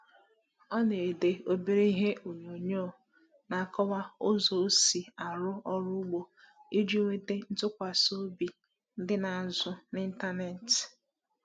Ọ na-ede obere ihe onyoonyo na-akọwa ụzọ ọ si arụ ọrụ ugbo iji nweta ntụkwasị obi ndị na-azụ n’ịntanetị.